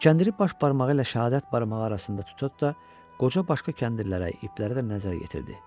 Kəndiri baş barmağı ilə şəhadət barmağı arasında tutub da qoca başqa kəndirlərə, iplərə də nəzər yetirdi.